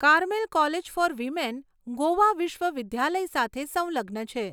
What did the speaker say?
Caramel college for women Goa વિશ્વવિધાલય સાથે સંલગ્ન છે.